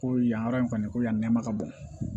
Ko yan yɔrɔ in kɔni ko yan ma ka bon